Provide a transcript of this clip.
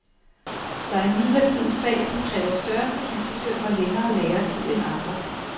Der er imidlertid fag, som kræver større fordybelse og længere læretid end andre.